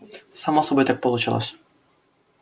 само собой так получалось